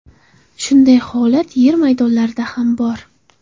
Shunday holat yer maydonlarida ham bor.